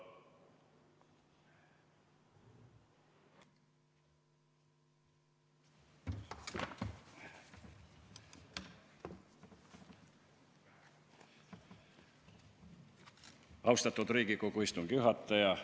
Austatud Riigikogu istungi juhataja!